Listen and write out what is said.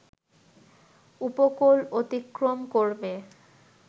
উপকূল অতিক্রম করবে